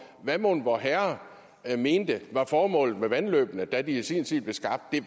hvad mon vorherre mente var formålet med vandløbene da de i sin tid blev skabt det